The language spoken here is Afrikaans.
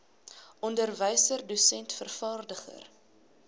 onderwyser dosent vervaardiger